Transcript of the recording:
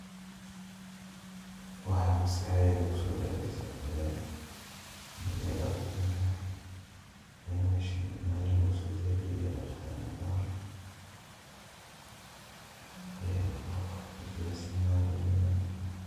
Waxaa maskahdeyda kusoo daceyso marya dheqitaanka. Inn meeshan marya lugusodaadiyey deqitaan u baahan. Qof diyarsanaya in uu nadiifiyo.